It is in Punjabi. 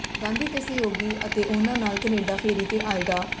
ਗਾਂਧੀ ਦੇ ਸਹਿਯੋਗੀ ਅਤੇ ਓਹਨਾਂ ਨਾਲ ਕਨੇਡਾ ਫੇਰੀ ਤੇ ਆਏ ਡਾ